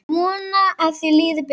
Vona að þér líði betur.